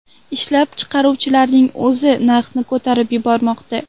Ishlab chiqaruvchilarning o‘zi narxni ko‘tarib yubormoqda.